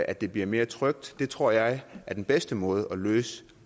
at det bliver mere trygt det tror jeg er den bedste måde at løse